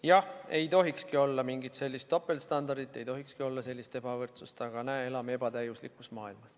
Jah, ei tohikski olla mingit sellist topeltstandardit, ei tohikski olla sellist ebavõrdsust, aga näe, elame ebatäiuslikus maailmas.